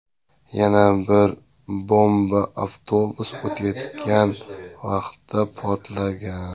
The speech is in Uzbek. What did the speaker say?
Yana bir bomba avtobus o‘tayotgan vaqtda portlagan.